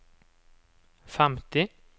femti